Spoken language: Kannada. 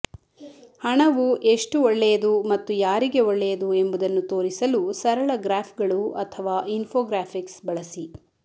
ಹಣವು ಎಷ್ಟು ಒಳ್ಳೆಯದು ಮತ್ತು ಯಾರಿಗೆ ಒಳ್ಳೆಯದು ಎಂಬುದನ್ನು ತೋರಿಸಲು ಸರಳ ಗ್ರಾಫ್ಗಳು ಅಥವಾ ಇನ್ಫೋಗ್ರಾಫಿಕ್ಸ್ ಬಳಸಿ